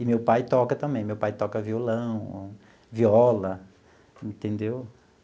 E meu pai toca também, meu pai toca violão, viola, entendeu?